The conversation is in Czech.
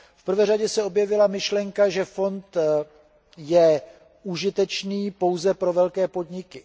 V prvé řadě se objevila myšlenka, že fond je užitečný pouze pro velké podniky.